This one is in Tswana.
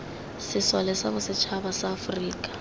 sesole sa bosetšhaba sa aforika